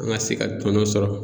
An ka se ka tɔnɔn sɔrɔ.